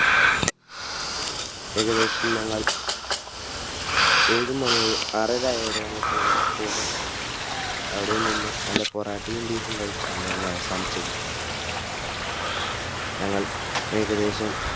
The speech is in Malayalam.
ഏകദേശം ഞങ്ങൾ ഏഴു മണി ആറരയായതോടെ ഞങ്ങൾ പോന്നു അവിടെനിന്നും നല്ല പൊറോട്ടയും Beef ഉംകഴിച്ചു ഞങ്ങൾ അവസാനിച്ചത്. ഞങ്ങൾ ഏകദേശം